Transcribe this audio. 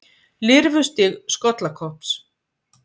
Lirfustig skollakopps.